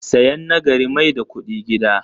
Sayan na gari mai da kudi gida.